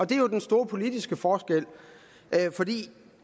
det er jo den store politiske forskel fordi